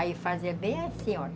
Aí fazia bem assim, olha.